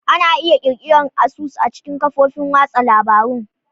Ana iya ƙirƙirar asusun a cikin kafofin watsa labarun.